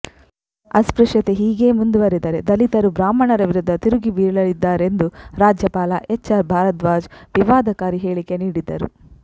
ಅಸ್ಪೃಶ್ಯತೆ ಹೀಗೇ ಮುಂದುವರಿದರೆ ದಲಿತರು ಬ್ರಾಹ್ಮಣರ ವಿರುದ್ದ ತಿರುಗಿ ಬೀಳಲಿದ್ದಾರೆಂದು ರಾಜ್ಯಪಾಲ ಎಚ್ ಆರ್ ಭಾರದ್ವಾಜ್ ವಿವಾದಕಾರಿ ಹೇಳಿಕೆ ನೀಡಿದ್ದರು